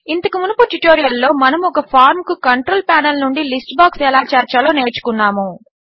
ఇంతకు మునుపు ట్యుటోరియల్లో మనము ఒక ఫార్మ్ కు కంట్రోల్ ప్యానెల్ నుండి లిస్ట్ బాక్స్ ఎలా చేర్చాలో నేర్చుకున్నాము